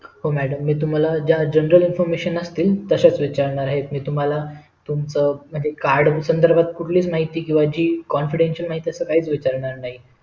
हो madam मी तुम्हाला general information असतील तशाच विचारणार आहेत मी तुम्हला तुमचा card संदर्भात कुठलीच माहिती किंवा जी confidential माहिती असं काहीच विचारणार नाही